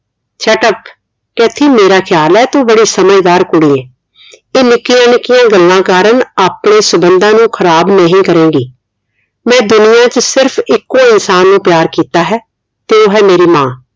Kathy ਮੇਰਾ ਖਿਆਲ ਹੈ ਤੂੰ ਬੜੀ ਸਮਝਦਾਰ ਕੁੜੀ ਹੈ ਤੇ ਨਿੱਕੀਆਂ ਨਿੱਕੀਆਂ ਗੱਲਾਂ ਕਾਰਣ ਆਪਣੇ ਸੰਬੰਧਾਂ ਨੂੰ ਖ਼ਰਾਬ ਨਹੀਂ ਕਰੇਂਗੀ ਮੈਂ ਦੁਨੀਆ ਵਿਚ ਸਿਰਫ ਇੱਕੋ ਇਨਸਾਨ ਨੂੰ ਪਿਆਰ ਕਿੱਤਾ ਹੈ ਤੇ ਉਹ ਹੈ ਮੇਰੀ ਮਾਂ